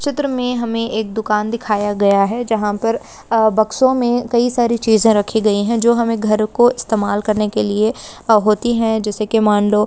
चित्र में हमें एक दुकान दिखाया गया है। जहां पर आ बक्सों में कई सारी चीज रखी गई। जो हमें घर को इस्तेमाल करने के लिए होती है जैसे की मानलो --